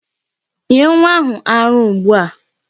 Nye nwa ahụ ara ugbu a!